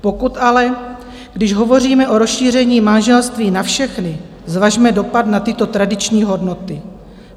Pokud když ale hovoříme o rozšíření manželství na všechny, zvažme dopad na tyto tradiční hodnoty.